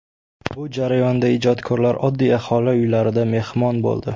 Bu jarayonda ijodkorlar oddiy aholi uylarida mehmon bo‘ldi.